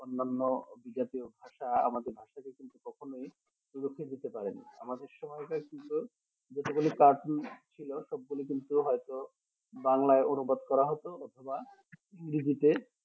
অনন্য বিদেশীও ভাষা আমাদের ভাষাকে কিন্তু কখনোই রুখে দিতে পারেনি আমাদের সহায়িকার কিন্তু যত গুলি কাটুন ছিল সব গুলি কিন্তু হয়তো বাংলায় অনুবাদ করা হতো অথবা ইংরেজিতে